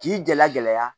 K'i jala gɛlɛya